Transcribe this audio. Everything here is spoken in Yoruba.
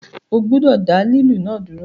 O gbọdọ da lilu náà duro!